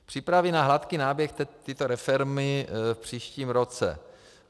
Přípravy na hladký náběh této reformy v příštím roce.